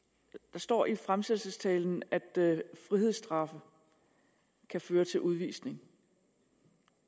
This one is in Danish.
der står i fremsættelsestalen at frihedsstraffe kan føre til udvisning